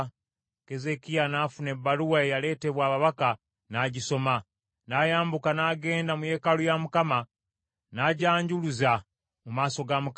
Keezeekiya n’afuna ebbaluwa eyaleetebwa ababaka, n’agisoma. N’ayambuka n’agenda mu yeekaalu ya Mukama , n’agyanjuluza mu maaso ga Mukama .